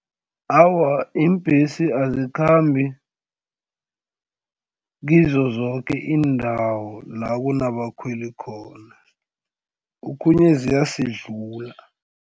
Awa, iimbhesi azikhambi kizo zoke iindawo la kunabakhweli khona okhunye ziyasidlula.